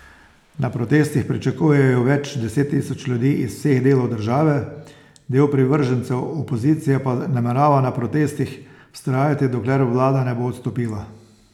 Na protestih pričakujejo več deset tisoč ljudi iz vseh delov države, del privržencev opozicije pa namerava na protestih vztrajati, dokler vlada ne bo odstopila.